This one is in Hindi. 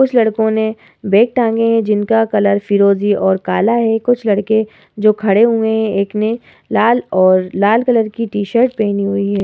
कुछ लड़कों ने बैग टांगे है। जिनका कलर फिरोजी और काला है। कुछ लड़के जो खड़े हुए हैं एक ने लाल और लाल कलर की टी-शर्ट पहनी हुई है।